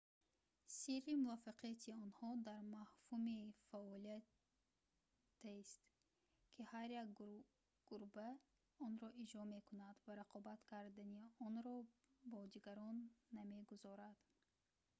сирри муваффақияти онҳо дар мафҳуми фаъолиятест ки ҳар як гурба онро иҷро мекунад ва рақобат кардани онро бо дигарон намегузорад